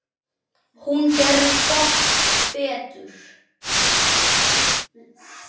Hún gerði gott betur.